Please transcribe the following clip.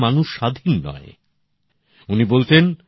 এরপরই উনি স্বাদেশীকতাকে নিজের জীবনের লক্ষ্য হিসেবে স্থির করেছিলেন